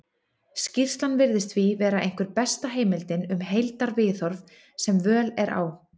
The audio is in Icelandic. skýrslan virðist því vera einhver besta heimildin um heildarviðhorf sem völ er á